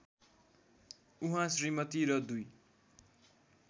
उहाँ श्रीमती र दुई